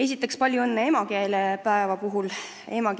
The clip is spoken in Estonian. Esiteks palju õnne emakeelepäeva puhul!